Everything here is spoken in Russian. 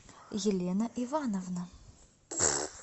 елена ивановна